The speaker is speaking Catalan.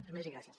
res més i gràcies